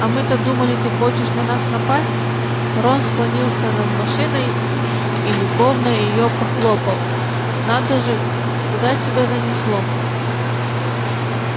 а мы-то думали ты хочешь на нас напасть рон склонился над машиной и любовно её похлопал надо же куда тебя занесло